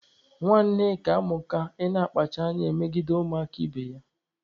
Nwa Nneka amụka ị na-akpacha anya emegide ụmụaka ibe ya.